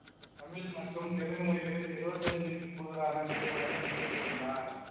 தமிழ் மற்றும் தெலுங்கு மொழிகளில் எழுவத்தஞ்சுக்கு கூடுதலான திரைப்படங்கள் இயக்கி உள்ளார்